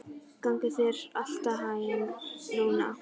Gangi þér allt í haginn, Rúna.